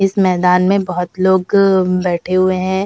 इस मैदान में बहोत लोग बैठे हुए हैं।